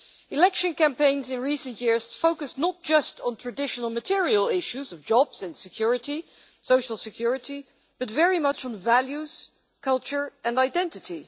Election campaigns in recent years focused not just on traditional material issues of jobs and social security, but very much on values, culture and identity.